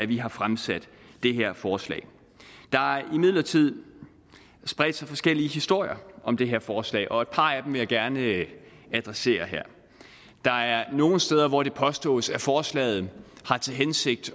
vi har fremsat det her forslag der har imidlertid spredt sig forskellige historier om det her forslag og et par af dem vil jeg gerne adressere her der er nogle steder hvor det påstås at forslaget har til hensigt